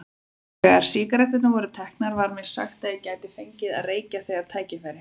Þegar sígaretturnar voru teknar var mér sagt að ég gæti fengið að reykja þegar tækifæri